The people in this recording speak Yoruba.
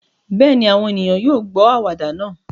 Bẹ́ẹ̀ ni, àwọn ènìyàn yóò gbọ́ àwàdà náà